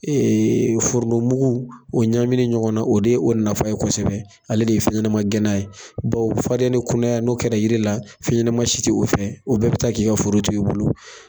foronto mugu, o ɲaminen ɲɔgɔn na, o de ye o nafa ye kosɛbɛ , ale de ye fɛnɲɛnama gɛnnan ye, baw o fariya ni o kunaya, n'o kɛra yiri la, fɛɲɛnama si tɛ o fɛ o bɛɛ bɛ taa k'i ka foro to i bolo.